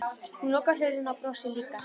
Hún lokar hurðinni og brosir líka.